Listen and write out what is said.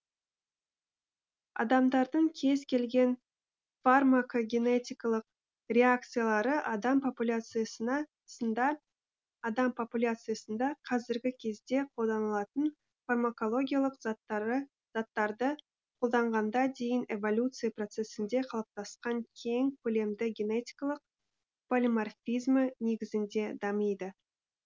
адамдардың кез келген фармакогенетикалық реакциялары адам попуяциясында қазіргі кезде қолданылатын фармакологиялық заттарды қолданғанға дейін эволюция процесінде қалыптасқан кең көлемді генетикалық полиморфизмі негізінде дамиды